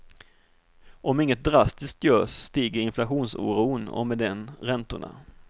Om inget drastiskt görs stiger inflationsoron och med den räntorna.